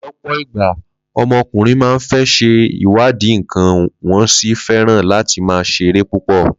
Ló̩pò̩ ìgbà, o̩mo̩kùnrin máa ń fé̩ s̩e ìwádìí nǹkan, wó̩n sì fé̩ràn láti máa s̩eré púpò̩